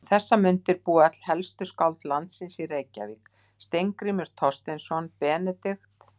Um þessar mundir búa öll helstu skáld landsins í Reykjavík: Steingrímur Thorsteinsson, Benedikt